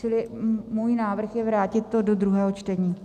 Čili můj návrh je vrátit to do druhého čtení.